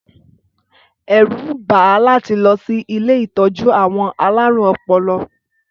Ẹ̀rù ń bà á láti lọ sí ilé ìtọ́jú àwọn alárùn-ọpọlọ.